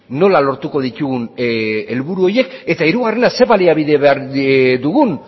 nola lortuko ditugun helburu horiek eta hirugarrena ze baliabide behar dugun